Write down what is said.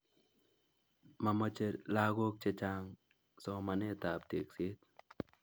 Momoje lakok Che Chang somanet ab tekset